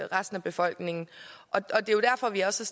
resten af befolkningen det er jo derfor vi også